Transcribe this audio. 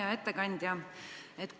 Hea ettekandja!